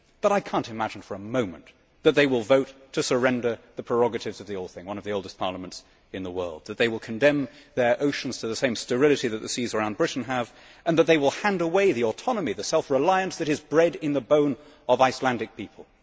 However, I cannot imagine for a moment that they will vote to surrender the prerogatives of the Althing, which is one of the oldest parliaments in the world, or that they will condemn their oceans to the same sterility as the seas around Britain, or that they will hand away the autonomy and self reliance that is bred in the bone of the Icelandic people.